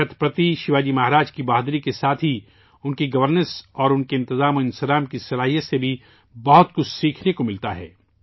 چھترپتی شیواجی مہاراج کی بہادری کے ساتھ ہی ان کی حکمرانی اور ان کی انتظامی ہنرمندی سے بھی بہت کچھ سیکھنے کو بھی ملتا ہے